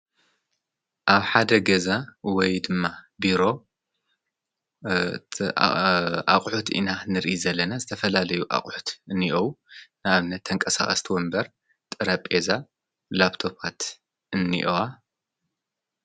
ኣብ ሓደ ገዛ ወይ ድማ ብሮ ኣቝሑት ኢና ንርኢ ዘለና ዝተፈላለዩ ኣቝሑት እንእው ናብነት ኣንቀሳ ስቲወ እምበር ጥረ ጴዛ ላጵቶፋት እኒእዋ።